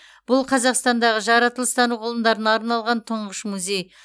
бұл қазақстандағы жаратылыстану ғылымдарына арналған тұңғыш музей